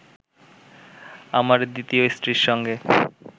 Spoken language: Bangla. আমার দ্বিতীয় স্ত্রীর সঙ্গে